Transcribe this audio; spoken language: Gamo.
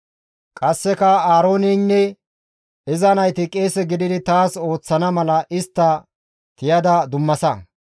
«Qasseka Aarooneynne iza nayti qeese gididi taas ooththana mala istta tiyada dummasa;